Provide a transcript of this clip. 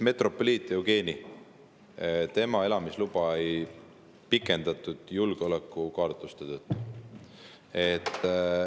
Metropoliit Eugeni elamisluba ei pikendatud julgeolekukaalutluste tõttu.